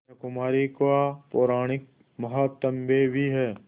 कन्याकुमारी का पौराणिक माहात्म्य भी है